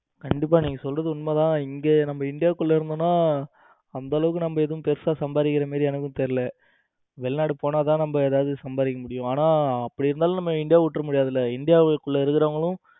ஹம் கண்டிப்பா நீங்க சொல்றது உண்மைதான் இங்க நம்ம இந்தியாக்குள்ள இருந்தோம்னா அந்த அளவுக்கு நம்ம ஒன்னும் பெருசா சம்பாதிக்கிற மாதிரி எனக்கு எதுவும் தெரியல. வெளிநாடு போனால்தான் நம்ம ஏதாவது சம்பாதிக்க முடியும். ஆனா அப்படி இருந்தாலும் நம்ம இந்தியா விற்ற முடியாது இல்ல இந்தியா குள்ள இருக்கிறவங்களும்